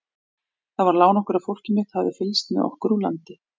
Það var lán okkar að fólkið mitt hafði fylgst með okkur úr landi.